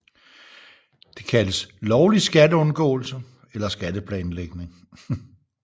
Det kaldes lovlig skatteundgåelse eller skatteplanlægning